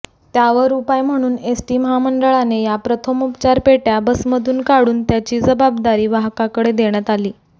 त्यावर उपाय म्हणून एसटी महामंडळाने या प्रथमोपचार पेट्या बसमधून काढून त्याची जबाबदारी वाहकाकडे देण्यात आली